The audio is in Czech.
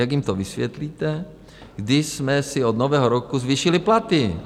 Jak jim to vysvětlíte, kdy jsme si od Nového roku zvýšili platy?